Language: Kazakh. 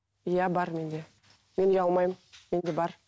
иә бар менде мен ұялмаймын менде бар